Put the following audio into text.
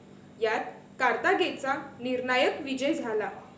यात कार्थागेचा निर्णायक विजय झाला.